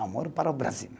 Amor para o Brasil.